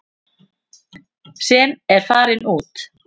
Sem eru farnir út.